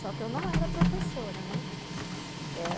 Só que eu não era professora, né?